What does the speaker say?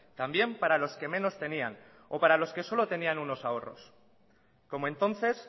también para los que menos tenían o para los que solo tenían unos ahorros como entonces